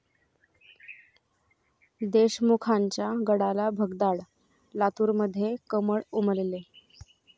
देशमुखांच्या गडाला भगदाड, लातूरमध्ये 'कमळ' उमलले